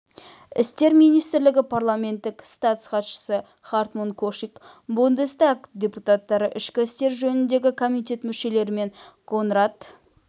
істер министрлігі парламенттік статс-хатшысы хартмут кошик бундестаг депутаттары ішкі істер жөніндегі комитет мүшелері мен конрад